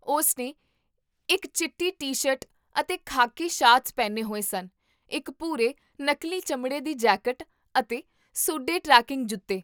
ਉਸ ਨੇ ਇੱਕ ਚਿੱਟੀ ਟੀ ਸ਼ਰਟ ਅਤੇ ਖਾਕੀ ਸ਼ਾਰਟਸ ਪਹਿਨੇ ਹੋਏ ਸਨ, ਇੱਕ ਭੂਰੇ, ਨਕਲੀ ਚਮੜੇ ਦੀ ਜੈਕਟ ਅਤੇ ਸੂਡੇ ਟ੍ਰੈਕੀੰਗ ਜੁੱਤੇ